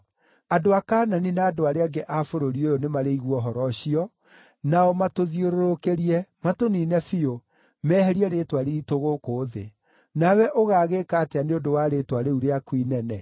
Andũ a Kaanani na andũ arĩa angĩ a bũrũri ũyũ nĩmarĩigua ũhoro ũcio, nao matũthiũrũrũkĩrie, matũniine biũ, meherie rĩĩtwa riitũ gũkũ thĩ. Nawe ũgaagĩĩka atĩa nĩ ũndũ wa rĩĩtwa rĩu rĩaku inene?”